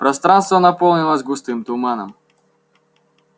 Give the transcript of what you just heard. пространство наполнилось густым туманом